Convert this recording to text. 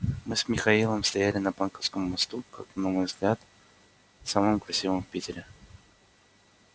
мы с михаилом стояли на банковском мосту как на мой взгляд самом красивом в питере